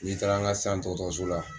N'i taara an ka sisan dɔgɔtɔrɔso la